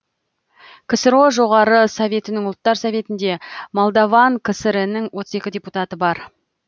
ксро жоғары советінің ұлттар советінде молдаван кср інің отыз екі депутаты бар